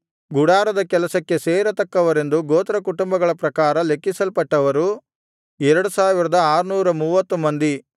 ಗುಡಾರದ ಕೆಲಸಕ್ಕೆ ಸೇರತಕ್ಕವರೆಂದು ಗೋತ್ರಕುಟುಂಬಗಳ ಪ್ರಕಾರ ಲೆಕ್ಕಿಸಲ್ಪಟ್ಟವರು 2630 ಮಂದಿ